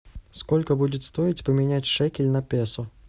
сколько будет стоить поменять шекель на песо